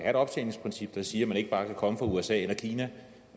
et optjeningsprincip der siger at man ikke bare kan komme fra usa eller kina